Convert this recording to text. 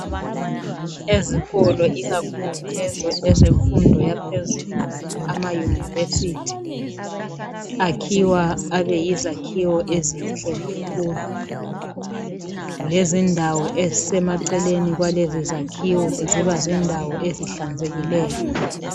Ezikolo ikakhulu lezo ezemfundo yaphezulu amayunivesithi akhiwa abe yizakhiwo ezinhle kakhulu .Lezindawo ezisemaceleni kwalezo zakhiwo ziba zindawo ezihlanzekileyo.